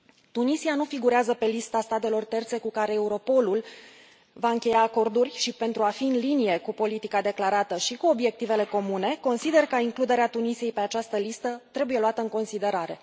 Tunisia nu figurează pe lista statelor terțe cu care Europolul va încheia acorduri și pentru a fi în linie cu politica declarată și cu obiectivele comune, consider că includerea Tunisiei pe această listă trebuie luată în considerare.